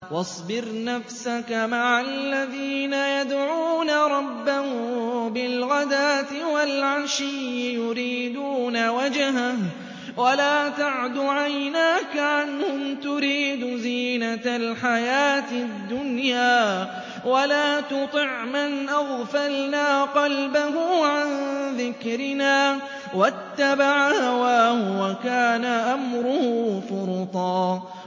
وَاصْبِرْ نَفْسَكَ مَعَ الَّذِينَ يَدْعُونَ رَبَّهُم بِالْغَدَاةِ وَالْعَشِيِّ يُرِيدُونَ وَجْهَهُ ۖ وَلَا تَعْدُ عَيْنَاكَ عَنْهُمْ تُرِيدُ زِينَةَ الْحَيَاةِ الدُّنْيَا ۖ وَلَا تُطِعْ مَنْ أَغْفَلْنَا قَلْبَهُ عَن ذِكْرِنَا وَاتَّبَعَ هَوَاهُ وَكَانَ أَمْرُهُ فُرُطًا